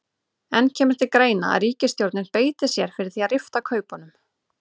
En kemur til greina að ríkisstjórnin beiti sér fyrir því að rifta kaupunum?